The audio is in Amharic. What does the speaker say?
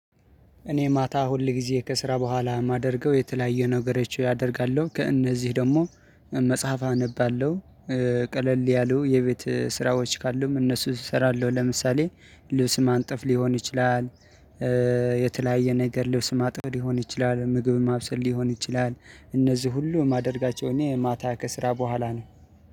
እኔ ማታ ሁል ጊዜ ከስራ በኋላ የማደርገው የተለያየ ነገሮች ያደርጋለሁ ከእነዚህ ደግሞ መጽሐፍ አነባለሁ። ቀለል ያሉ የቤት ስራዎች ካሉም እነሱ እሰራለሁ ለምሳሌ ልብስ ማንጠፍ ሊሆን ይችላል። የተለያየ ነገር ልብስ ማጠብ ሊሆን ይችላል ምግብ ማብሰል ሊሆን ይችላል። እነዚህ ሁሉ ማደርጋቸው እኔ የማታ ከስራ በኋላ ነው